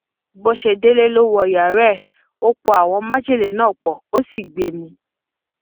bó ṣe délé ló wọ yàrá ẹ ó pọ àwọn májèlé náà pó ò sì gbé e mú